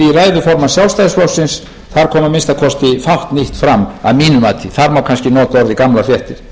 formanns sjálfstæðisflokksins þar kom að minnsta kosti fátt nýtt fram að mínu mati þar má kannski nota orðið gamlar fréttir